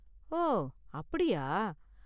ஓ, அப்படியா?